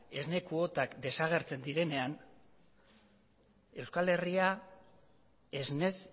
esne kuotan desagertzen direnean euskal herria esnez